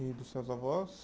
E dos seus avós?